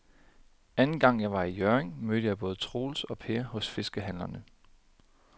Anden gang jeg var i Hjørring, mødte jeg både Troels og Per hos fiskehandlerne.